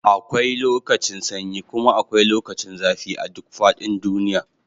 akwai lokacin sanyi kuma akwai lokacin zafi a duk faɗin duniy